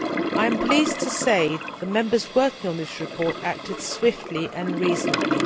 I am pleased to say the Members working on this report acted swiftly and reasonably.